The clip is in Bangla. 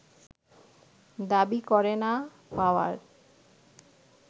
দাবি করে না পাওয়ায়